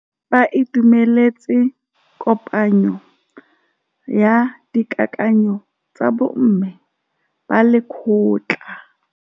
Ba itumeletse kôpanyo ya dikakanyô tsa bo mme ba lekgotla.